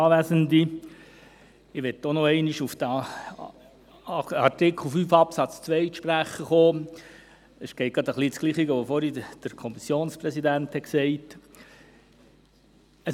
Was ich sagen möchte, ist ähnlich wie das, was der Kommissionspräsident vorhin gesagt hat.